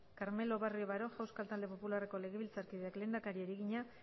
carmelo barrio baroja euskal talde popularreko legebiltzar kideak lehendakariari egina